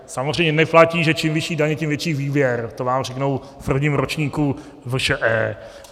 Samozřejmě neplatí, že čím vyšší daně, tím vyšší výběr, to vám řeknou v prvním ročníku VŠE.